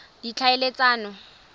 ditlhaeletsano